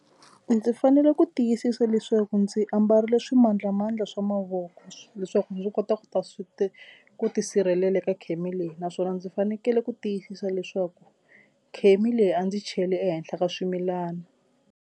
Ndzi fanele ku tiyisisa leswaku ndzi ambarile swimandlamandla swa mavoko leswaku ndzi kota ku ta swi ti ku tisirhelela eka khemi leyi naswona ndzi fanekele ku tiyisisa leswaku khemi leyi a ndzi cheli ehenhla ka swimilana.